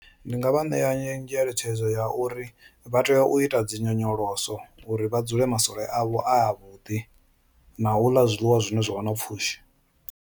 Ndi nga vha ṋea ngeletshedzo ya uri vha tea u ita dzi nyonyoloso uri vha dzule masole avho a vhuḓi na u ḽa zwiḽiwa zwine zwa vha na pfhushi.